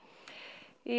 í